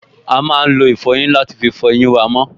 A máa lo ìfọyín láti fí fọ eyín wa mọ́